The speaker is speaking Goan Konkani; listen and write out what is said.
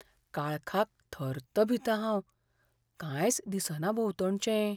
काळखाक थर्त भितां हांव, कांयच दिसना भोंवतणचें!